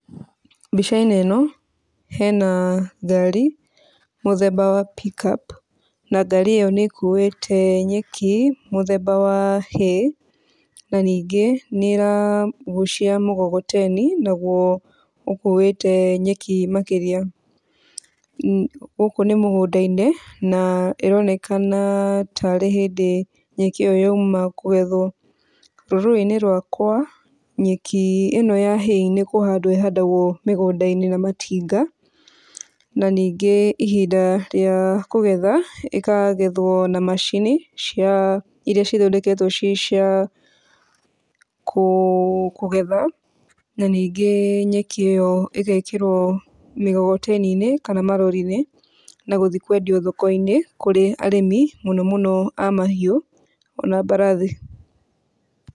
Mbica-inĩ ĩno hena ngari mũthemba wa Pick-up na ngari ĩno nĩ kuĩte nyeki, mũthemba wa hay na ningĩ nĩ ĩragucia mũkokoteni, naguo ũkuĩte nyeki makĩria, gũkũ nĩ mũgũnda-inĩ na ĩronekana ta rĩ hĩndĩ nyeki ĩyo yauma kũgethwo. Rũrĩrĩ-inĩ rwakwa nyeki ĩno ya hay nĩ kũhandwo ĩhandagwo mĩgũnda-inĩ na matinga na ningĩ ihinda rĩa kũgetha ĩkagetwo na macini cia iria cithondeketwo ciĩ cia kũgetha, na ningĩ nyeki ĩyo ĩgekĩrwo mĩkokoteni-inĩ kana marori-inĩ na gũthiĩ kwendio mathoko-inĩ kũrĩ arĩmi mũno mũno a mahiũ ona mbarathi.